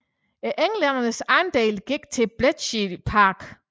Englændernes andel gik til Bletchley Park